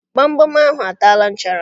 Gbamgbam ahụ a taala nchara